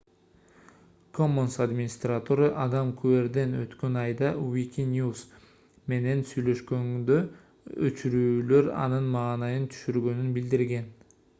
commons администратору адам куэрден өткөн айда wikinews менен сүйлөшкөндө өчүрүүлөр анын маанайын түшүргөнүн билдирген